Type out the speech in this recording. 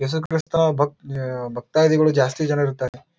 ಯೇಸು ಕ್ರೈಸ್ತರ ಭಕ್ತ್ ಯ ಭಕ್ತದಿಗಳು ಜಾಸ್ತಿ ಜನರು ಇರ್ತರಿ.